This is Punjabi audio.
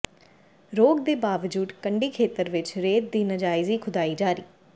ਰੋਕ ਦੇ ਬਾਵਜੂਦ ਕੰਢੀ ਖੇਤਰ ਵਿੱਚ ਰੇਤ ਦੀ ਨਾਜਾਇਜ਼ ਖੁਦਾਈ ਜਾਰੀ